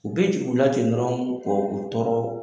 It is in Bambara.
U be jigin u la ten dɔrɔn ka u tɔɔrɔ.